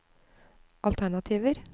alternativer